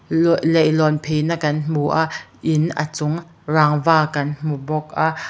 luah leihlawn pheina kan hmu a in a chung rangva kan hmu bawk a.